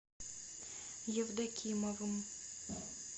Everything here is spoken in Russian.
евдокимовым